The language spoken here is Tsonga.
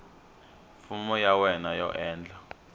fomo ya wena yo endla